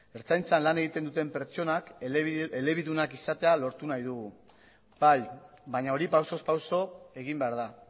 ertzaintzan lan egiten duten pertsonak elebidunak izatea lortu nahi dugu bai baina hori pausoz pauso egin behar da